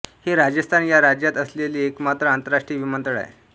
हे राजस्थान या राज्यात असलेले एकमात्र आंतरराष्ट्रीय विमानतळ आहे